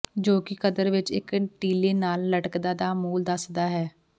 ਜੋ ਕਿ ਕਦਰ ਵਿੱਚ ਇੱਕ ਟੀਲੇ ਨਾਲ ਲਟਕਦਾ ਦਾ ਮੂਲ ਦੱਸਦਾ ਹੈ